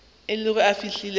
o ile go fihla gae